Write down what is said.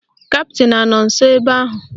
Kaptịn anọ nsọ ebe ahụ?